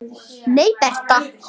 Nei, Bertha.